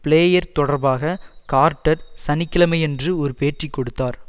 player தொடர்பாக Carter சனி கிழமையன்று ஒரு பேட்டி கொடுத்தார்